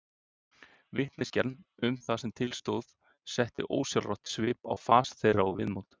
Vitneskjan um það sem til stóð setti ósjálfrátt svip á fas þeirra og viðmót.